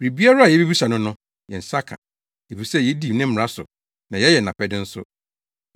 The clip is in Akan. Biribiara a yebisa no no, yɛn nsa ka, efisɛ yedi ne mmara so na yɛyɛ nʼapɛde nso.